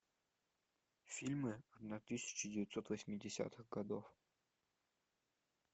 фильмы одна тысяча девятьсот восьмидесятых годов